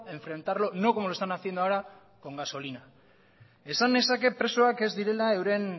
enfrentarlo no como lo están haciendo ahora con gasolina esan nezake presoak ez direla euren